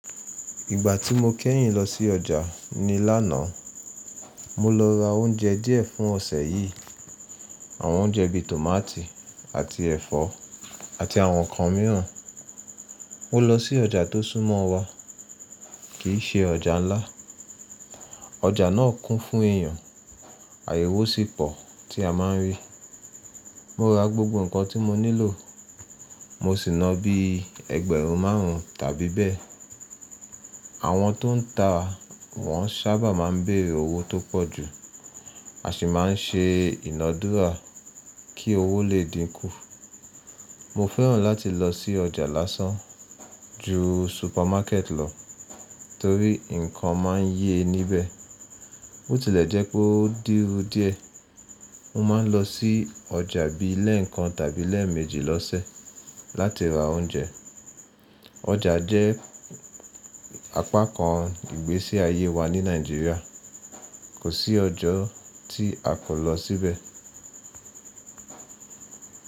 Ìgbà tí mo kẹ́yìn lọ sí ọjà ni lánàá. Mo lọ ra oúnjẹ díẹ̀ fún ọ̀sẹ̀ yìí. Àwọn oúnjẹ bí i tòmátì àti ẹ̀fọ́ àti àwọn ǹkan mìíràn. Mo lọ sí ọjà tó súnmọ́ wa, kì í ṣe ọjà ńlá. Ọjà náà kún fún èyàn, àyèwò sì pọ̀ tí a máa ń rí. Mo ra gbogbo ǹkan tí mo nílò. Mo sì na bí i ẹgbẹ̀rún márùn-ún tàbí bẹ́ẹ̀. Àwọn tó ń ta wọ́n sábà máa ń béèrè owó tó pọ̀jù, a sì máa ń ṣe ìnàdúrà kí owó lè dínkù. Mo fẹ́ràn láti lọ sí ọjà lásán ju supermarket lọ torí ǹkan máa ń yẹ níbẹ̀. Bó tilẹ̀ jẹ́ pé ó dúrú díẹ̀, mo máa ń lọ sí ọjà bí i lẹ́ẹ̀kan tàbí lẹ́ẹ̀méjì lọ́sẹ̀ láti ra oúnjẹ. Ọjà jẹ́ apá kan ìgbésí ayé wa ní Nàìjíríà. Kò sí ọjọ́ tí a kò lọ síbẹ̀.